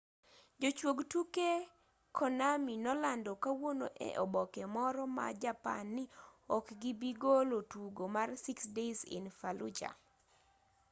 jochuog tuke konami nolando kawuono e oboke moro ma japan ni okgibigolo tugo mar six days in fallujah